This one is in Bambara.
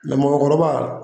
Lemɔgɔrɔba